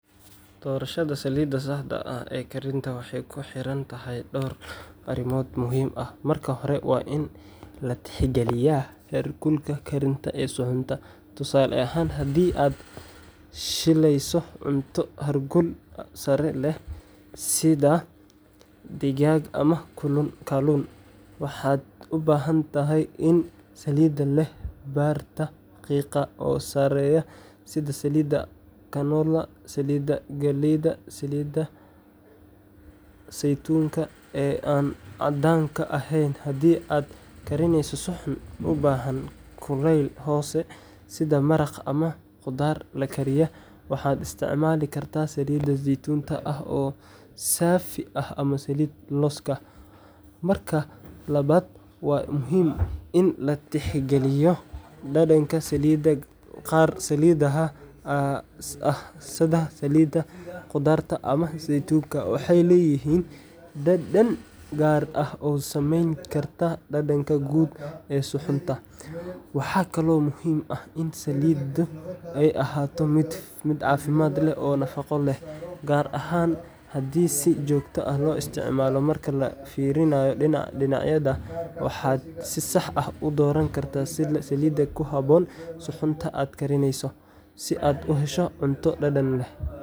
Doorashada saliidda saxda ah ee karinta waxay ku xiran tahay dhowr arrimood muhiim ah. Marka hore, waa in la tixgeliyaa heerkulka karinta ee suxuunta. Tusaale ahaan, haddii aad shiilayso cunto heerkul sare leh sida digaag ama kalluun, waxaad u baahan tahay saliid leh barta qiiqa oo sareysa sida saliidda canola, saliidda galleyda, ama saliidda saytuunka ee aan caddaanka ahayn. Haddii aad karineyso suxuun u baahan kuleyl hoose sida maraqa ama khudaar la kariyey, waxaad isticmaali kartaa saliid saytuun ah oo saafi ah ama saliidda looska. Marka labaad, waa muhiim in la tixgeliyo dhadhanka saliidda; qaar saliidaha ah sida saliidda qudaar ama saytuunka waxay leeyihiin dhadhan gaar ah oo saameyn kara dhadhanka guud ee suxuunta. Waxaa kaloo muhiim ah in saliiddu ay ahaato mid caafimaad leh oo nafaqo leh, gaar ahaan haddii si joogto ah loo isticmaalo. Marka laga fiiriyo dhinacyadan, waxaad si sax ah u dooran kartaa saliid ku habboon suxuunta aad karineyso, si aad u hesho cunto dhadhan leh.